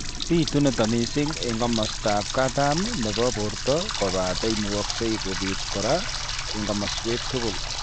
Bitu nitok mising eng' komastab katam nebo borto kobate imukakse kobit kora eng' komaswek tugul